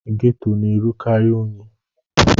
Geto na-erukari unyi.